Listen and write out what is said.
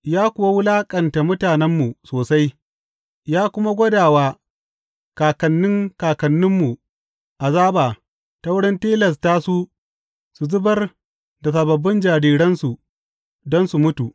Ya kuwa wulaƙanta mutanenmu sosai, ya kuma gwada wa kakanni kakanninmu azaba ta wurin tilasta su su zubar da sababbin jariransu, don su mutu.